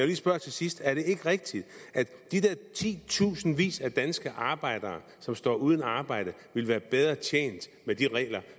lige spørge til sidst er det ikke rigtigt at de der titusindvis af danske arbejdere som står uden arbejde ville være bedre tjent med de regler